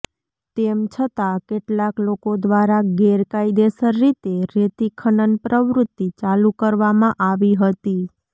તેમ છતાં કેટલાક લોકો દ્વારા ગેરકાયદેસર રીતે રેતી ખનન પ્રવૃત્તિ ચાલુ કરવામાં આવી હતી